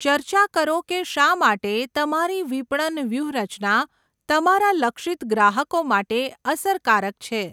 ચર્ચા કરો કે શા માટે તમારી વિપણન વ્યૂહરચના તમારા લક્ષિત ગ્રાહકો માટે અસરકારક છે.